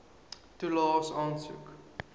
toelaes aansoek